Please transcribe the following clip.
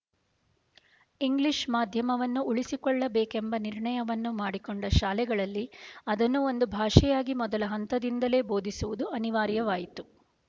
English ಮಾಧ್ಯಮವನ್ನು ಉಳಿಸಿಕೊಳ್ಳಬೇಕೆಂಬ ನಿರ್ಣಯವನ್ನು ಮಾಡಿಕೊಂಡ ಶಾಲೆಗಳಲ್ಲಿ ಅದನ್ನು ಒಂದು ಭಾಷೆಯಾಗಿ ಮೊದಲ ಹಂತದಿಂದಲೇ ಬೋಧಿಸುವುದು ಅನಿವಾರ್ಯವಾಯಿತು